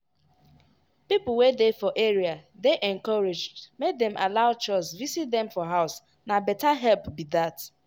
people wey dey for area dey encouraged make dem allow chws visit dem for house na better help be that.